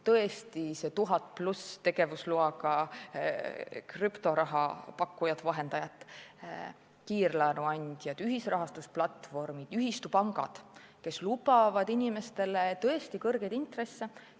Tõesti, on 1000 või rohkem tegevusloaga krüptoraha pakkujat-vahendajat, on kiirlaenuandjad, ühisrahastusplatvormid, ühistupangad, kes lubavad inimestele kõrgeid intresse.